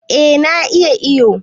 Eh na iya iyo